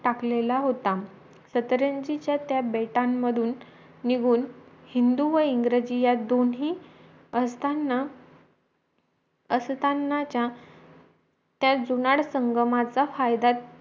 टाकलेला होता सतरंगीच्या त्या बेटांमधून निघूनहिंदू व इंग्रजी या दोन्हीअसतांना आसतांनाच्या त्या जुनाड संगमचा फायदा